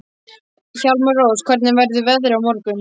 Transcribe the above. Hjálmrós, hvernig verður veðrið á morgun?